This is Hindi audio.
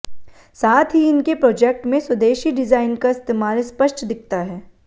साथ ही इनके प्रॉजेक्ट में स्वदेशी डिजाइन का इस्तेमाल स्पष्ट दिखता है